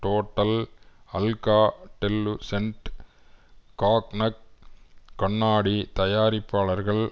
total Alcatel Lucent Cognac கண்ணாடி தயாரிப்பாளர்கள்